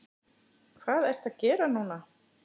Hvað ertu að gera núna?